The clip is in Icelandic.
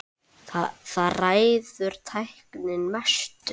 Þar ræður tæknin mestu.